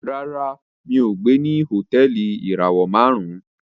Ràrá mi'o gbé ní Hotẹẹli ìràwọ márùn